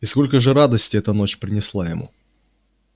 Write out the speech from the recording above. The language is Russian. и сколько же радости эта ночь принесла ему